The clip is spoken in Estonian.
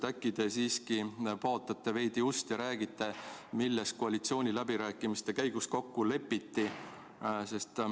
Äkki te siiski paotate veidi ust ja räägite, milles koalitsiooniläbirääkimiste käigus kokku lepiti.